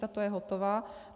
Tato je hotová.